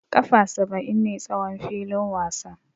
Kafa saba'in ne tsawon filin wasa.